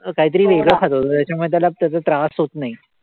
काही तरी वेगळं खातो तो. त्याच्यामुळे त्याला त्याचा त्रास होतं नाही.